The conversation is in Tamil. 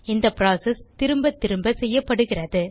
இந்த புரோசெஸ் திரும்பத்திரும்ப செய்யப்படுகிறது